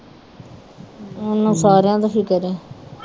ਉਹਨੂੰ ਸਾਰਿਆਂ ਦਾ ਫਿਕਰ ਏ